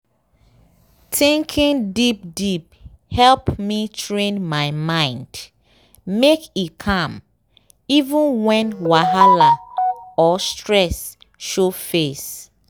thinking deep deepe help me train my mind make e calm even when whahala or stress show face.